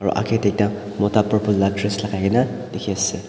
pre agye tey tak mota purples la dress lakaina dekhe ase.